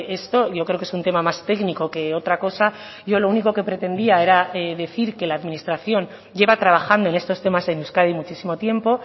esto yo creo que es un tema más técnico que otra cosa yo lo único que pretendía era decir que la administración lleva trabajando en estos temas en euskadi muchísimo tiempo